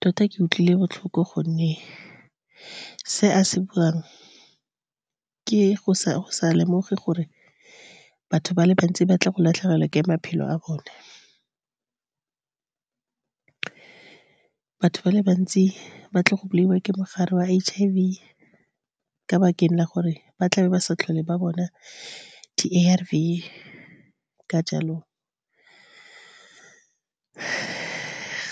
Tota ke utlwile botlhoko, gonne se a se buang ke go sa lemoge gore batho ba le bantsi ba tlile go latlhegelwa ke maphelo a bone. Batho ba le bantsi ba tlile go bolaiwa ke mogare wa H_I_V, ka lebaka la gore ba tlabe ba sa tlhole ba bona di A_R_V. Ka jalo,